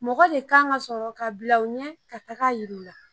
Mɔgɔ de kan ka sɔrɔ ka bila u ɲɛ ka taga yiri u la